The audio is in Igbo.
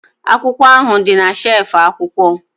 Akwụkwọ ahụ dị na shelf akwụkwọ